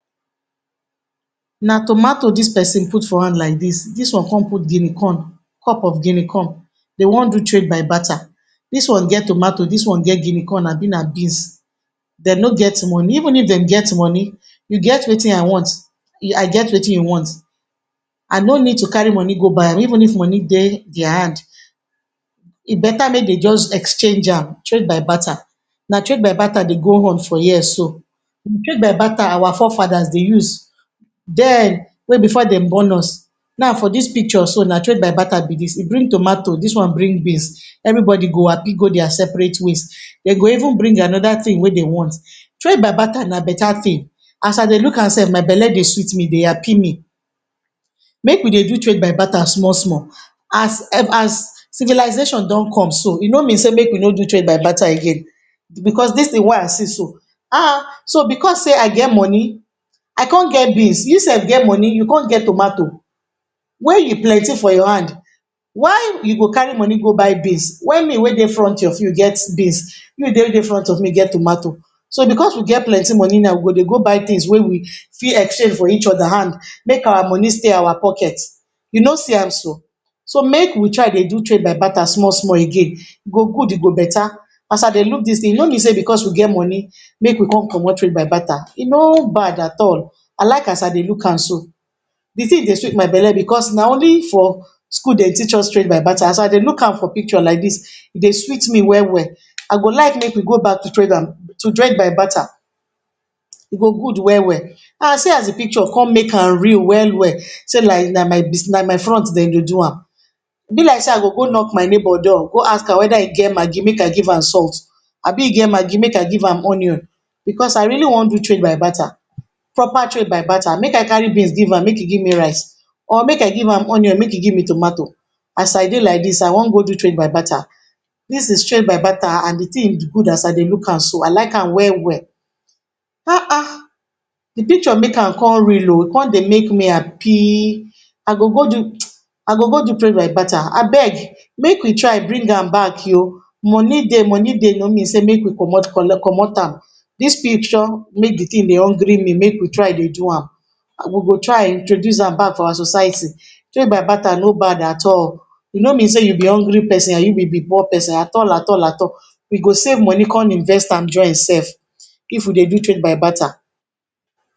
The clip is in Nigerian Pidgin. Na tomatoes dis person put for hand like dis, dis one come put Guinea corn, cup of guinea corn dem one do trade by barter. Dis one gets tomatoes, dis one gets Guinea corn abi na beans dem no get money even if dem gets money you get wetin I want, I get wetin u want I no need to carry money go buy am even if money de deir hand e better make dem just exchange am trade by barter. Na trade by barter de go on for here so. trade by barter our fore faders de use den wey before dem born us now for dis picture so na trade by bater be dis, dis one bring tomatoes, dis one bring beans everybody go happy go deir separate ways dem go even bring another wey dem want. trade by barter na beta thing. as I did look am sef my belle de sweet me, de happy me make we de do trade by barter small small as civilization don come so e no mean sey make we no do trade by barter again because dese things wey I see so, so because sey I get money I come get beans you sef get money you come get tomatoes wey e plenty for your hand why you go carry money go buy beans when me wey de front of you get beans, you wey de front of me get tomatoes so because we get plenty money now we go come de go buy things wey we fit exchange for each other hand make our money stay our pockets you no see am so. so make we try de do trade by barter small small again e go good e go better as I look dis thing e no mean sey as we get plenty make we come comot trade by bater no bad at all I like as I de look am so de thing de sweet my belly because na only for school Dem teach us trade by barter as I dey look am for picture like dis e de sweet me well well I go like make we go back to trade and barter e go good well well erh see as de picture come make am real well well like sey na for my front dem de do a. e be like I go go knock for my neighbor door, go ask some whether he get maggi make I give am salt abi e get maggi make I give am onion because I wan really do trade by barter, proper trade by barter make I carry beans give am make him give me rice or make I give am onion make him give me tomatoes as I de like dis I wan go do trade by barter dis is trade by barter and de thing good as I dey de look am so I like am well well de picture make am come real he comes de make me happy I go go do trade by bater abeg make we try bring and back oh money de, money de no mean sey make we comot am dis picture make de thing e hungry me make we try de do am we go try introduce am back for our society trade by bater no bad at e ni mean sey you be hungry person na you be poor person at all at all you go save money come invest am join sef if we de do trade by barter